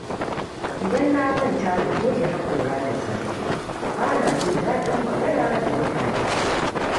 Idan na manta da goge haƙora da safe, ba na jin daɗin magana da mutane.